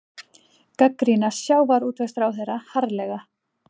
Gagnrýna sjávarútvegsráðherra harðlega